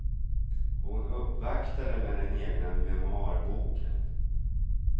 Hon uppvaktade med den egna memoarboken.